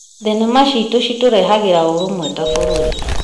Thenema ciitũ citũrehagĩra ũrũmwe ta bamĩrĩ.